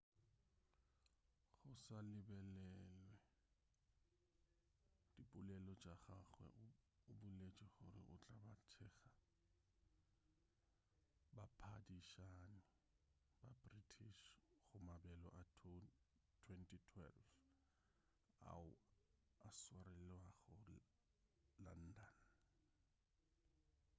go sa lebelelwe dipolelo tša gagwe o boletše gore o tla ba a thekga baphadišani ba british go mabelo a 2012 ao a swarelwago london